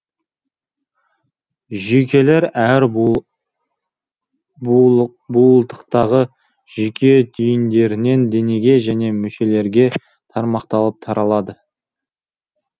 жүйкелер әр буылтықтағы жүйке түйіндерінен денеге және мүшелерге тармақталып таралады